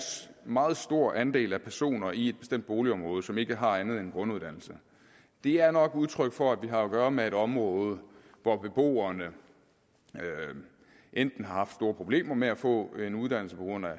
meget stor andel af personer i et bestemt boligområde som ikke har andet end en grunduddannelse er nok udtryk for at vi har at gøre med et område hvor beboerne enten har haft store problemer med at få en uddannelse på grund af